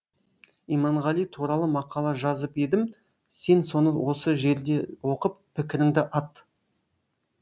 иманғали туралы мақала жазып едім сен соны осы жерде оқып пікіріңді ат